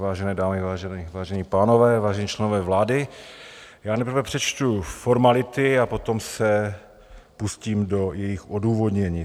Vážené dámy, vážení pánové, vážení členové vlády, já nejprve přečtu formality a potom se pustím do jejich odůvodnění.